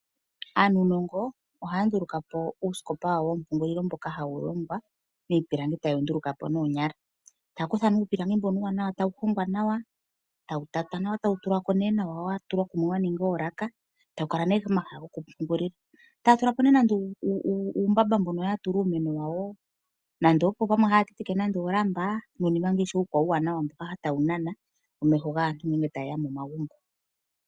Aanunongo ohaya nduluka po uusikopa wawo woompungulilo mboka hawu longwa miipilangi taye wu nduluka po noonyala. Otaya kutha nee uupilangi mbono uuwanawa, etawu hongwa nawa, etawu tatwa nawa, etawu tulwa ko wa tulwa kumwe wa ningwa oolaka etawu kala nee pomahala goku pungulila, etaya tula po nee nande uumbamba mono ya tula uumeno wawo nande pamwe haya tenteke oolamba noshowo uunima uukwawo mboka tawu nana omeho gaantu ngele ta ye ya momagumbo.